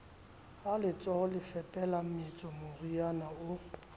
ha letsohole fepela mmetso morenao